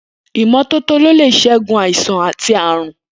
Imọtótó lé ṣègún àisán àtí àrún